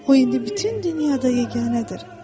O indi bütün dünyada yeganədir.